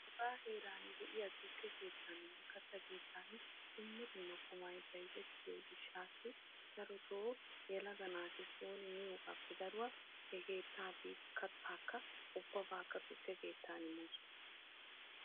Hega heeran de'iya tukke keetanine katta keettan dumma dumma qumay bayzetiyo gishasi yelaga naati sooni miyogappe daruwa he keettaa biyogan katta biidi he keettan tukke keettan moosona.